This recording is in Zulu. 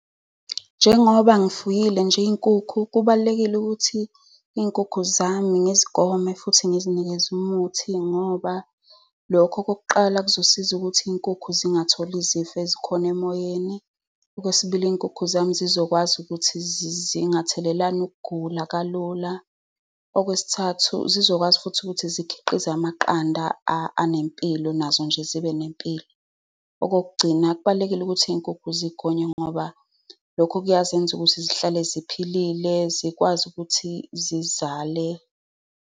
Njengoba ngizifuyile nje iy'nkukhu kubalulekile ukuthi iy'nkukhu zami ngezigome futhi ngizinikeze umuthi ngoba lokho, okokuqala, kuzosiza ukuthi iy'nkukhu zingatholi izifo ezikhona emoyeni. Okwesibili, iy'nkukhu zami zizokwazi ukuthi zingathelelani ukugula kalula. Okwesithathu, zizokwazi futhi ukuthi zikhiqize amaqanda anempilo, nazo nje zibe nempilo. Okokugcina, kubalulekile ukuthi iy'nkukhu zigonywe ngoba lokho kuyazenza ukuthi zihlale ziphilile, zikwazi ukuthi zizale.